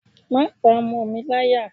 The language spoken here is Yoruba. Má pa ọmọ mi láyà.